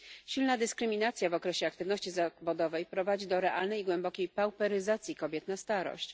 Silna dyskryminacja w okresie aktywności zawodowej prowadzi do realnej głębokiej pauperyzacji kobiet na starość.